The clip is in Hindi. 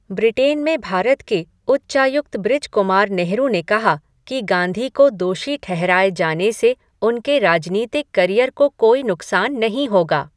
ब्रिटेन में भारत के उच्चायुक्त बृजकुमार नेहरू ने कहा कि गाँधी को दोषी ठहराए जाने से उनके राजनीतिक करियर को कोई नुकसान नहीं होगा।